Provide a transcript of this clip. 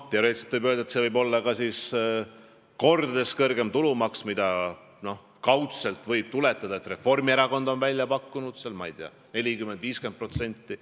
Teoreetiliselt võiks see siis olla kordades kõrgem tulumaks, mida, nagu kaudselt võib tuletada, on välja pakkunud Reformierakond – 40–50%.